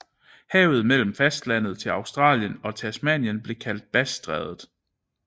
Havet mellem fastlandet til Australien og Tasmanien blev kaldt Bassstrædet